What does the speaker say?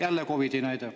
Jälle COVID-i näide.